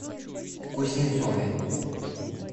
кузнецове